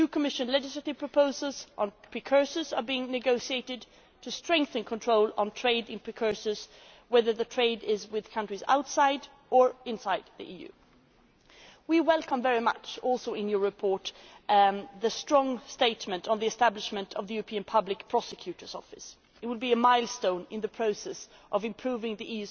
month. Two Commission legislative proposals on precursors are also being negotiated to strengthen control on trade in precursors, whether the trade is with countries outside or inside the EU. We also welcome in your report the strong statement on the establishment of the European Public Prosecutor's Office, which will be a milestone in the process of improving